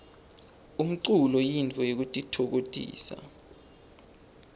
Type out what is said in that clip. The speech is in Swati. umlulo yintfo yekutitfokotisa